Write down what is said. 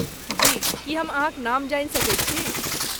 जी, की हम अहाँक नाम जानि सकैत छी?